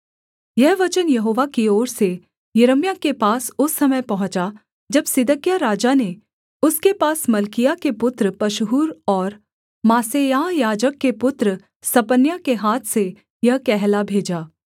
यह वचन यहोवा की ओर से यिर्मयाह के पास उस समय पहुँचा जब सिदकिय्याह राजा ने उसके पास मल्किय्याह के पुत्र पशहूर और मासेयाह याजक के पुत्र सपन्याह के हाथ से यह कहला भेजा